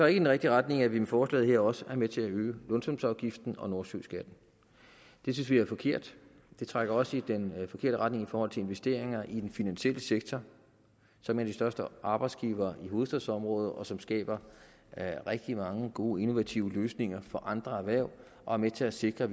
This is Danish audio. i den rigtige retning at vi med forslaget her også er med til at øge lønsumsafgiften og nordsøskatten det synes vi er forkert det trækker også i den forkerte retning i forhold til investeringer i den finansielle sektor som er den største arbejdsgiver i hovedstadsområdet og som skaber rigtig mange gode innovative løsninger for andre erhverv og er med til at sikre